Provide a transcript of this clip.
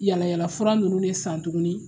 Yaala yaala fura nunnu de san tuguni